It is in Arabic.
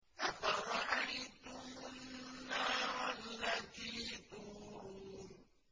أَفَرَأَيْتُمُ النَّارَ الَّتِي تُورُونَ